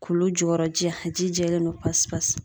Kulu jɔyɔrɔ ji a ji jɛlen don pasi pasi